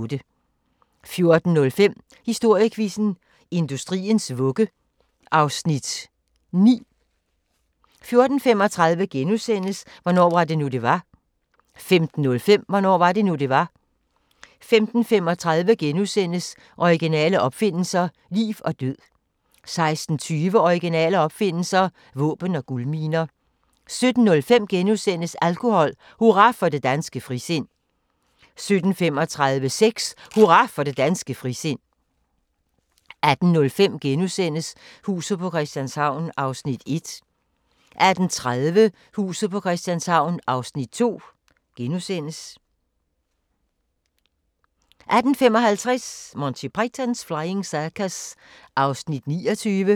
14:05: Historiequizzen: Industriens vugge (Afs. 9) 14:35: Hvornår var det nu, det var? * 15:05: Hvornår var det nu, det var? 15:35: Originale opfindelser – liv og død * 16:20: Originale opfindelser – våben og guldminer 17:05: Alkohol: Hurra for det danske frisind * 17:35: Sex: Hurra for det danske frisind 18:05: Huset på Christianshavn (1:84)* 18:30: Huset på Christianshavn (2:84)* 18:55: Monty Python's Flying Circus (29:45)